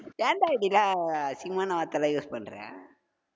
ஏன்டா, இப்படிலா அசிங்கமான வார்த்தைலாம் use பண்ற